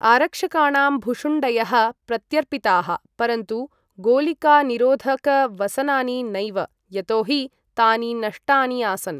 आरक्षकाणां भुशुण्डयः प्रत्यर्पिताः, परन्तु गोलिकानिरोधकवसनानि नैव, यतोहि तानि नष्टानि आसन्।